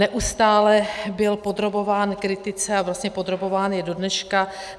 Neustále byl podrobován kritice a vlastně podrobován je do dneška.